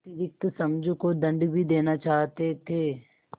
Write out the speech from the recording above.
अतिरिक्त समझू को दंड भी देना चाहते थे